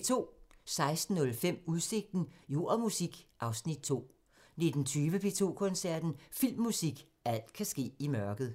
16:05: Udsigten – Jord og musik (Afs. 2) 19:20: P2 Koncerten – Filmmusik – alt kan ske i mørket